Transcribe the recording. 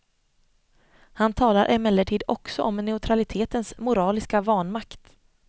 Han talar emellertid också om neutralitetens moraliska vanmakt.